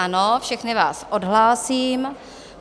Ano, všechny vás odhlásím.